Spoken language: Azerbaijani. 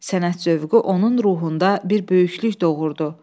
Sənət zövqü onun ruhunda bir böyüklük doğurdu.